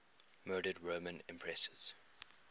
murdered roman empresses